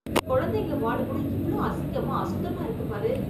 குழந்தைங்க வார்டு கூட இவ்ளோ அசிங்கமா அசுத்தமா இருக்கு பாரு.